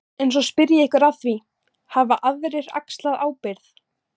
En svo spyr ég ykkur að því, hafa aðrir axlað ábyrgð?